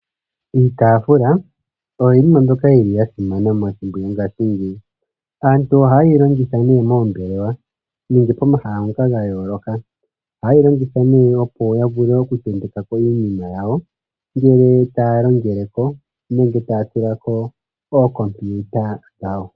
Iitafula oyo iinima mbyoka yili ya simana methimbo lyongashingeyi. Aantu ohaye yi longitha nee moombelewa nenge pomahala ngoka ga yooloka. Ohaye yi longitha nee opo ya vule okutentekako iinima yawo ngele taya longeleko nenge taya tulako ookompiuta dhawo.